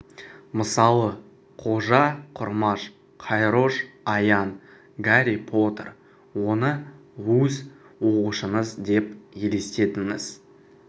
мысалы қожа құрмаш қайрош аян гарри поттер оны өз оқушыңыз деп елестетіңіз